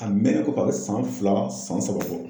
A mɛna ko ka san fila san saba bɔ